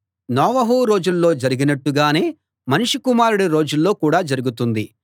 నోవహు రోజుల్లో జరిగినట్టు గానే మనుష్య కుమారుడి రోజుల్లో కూడా జరుగుతుంది